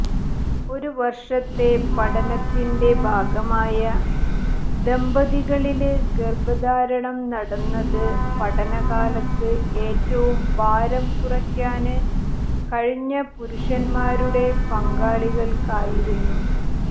ഒരു വര്ഷത്തെ പഠനത്തിന്റെ ഭാഗമായ ദമ്പതികളില് ഗര്ഭധാരണം നടന്നത് പഠനകാലത്ത് ഏറ്റവും ഭാരം കുറക്കാന് കഴിഞ്ഞ പുരുഷന്മാരുടെ പങ്കാളികള്ക്കായിരുന്നു